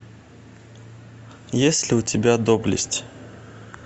есть ли у тебя доблесть